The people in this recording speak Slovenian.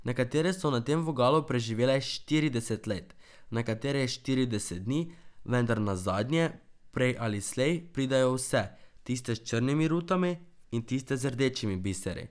Nekatere so na tem vogalu preživele štirideset let, nekatere štirideset dni, vendar nazadnje, prej ali slej, pridejo vse, tiste s črnimi rutami in tiste z rdečimi biseri.